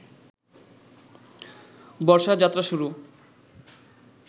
বর্ষার যাত্রা শুরু